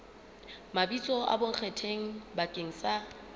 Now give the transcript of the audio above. mabitso a bonkgetheng bakeng sa